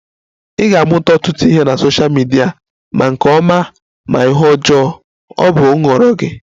Ị ga-amụta ọtụtụ ihe na sosha midia, ma nke ọma ma ihe ọjọọ, ọ bụ nhọrọ gị